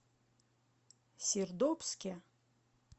сердобске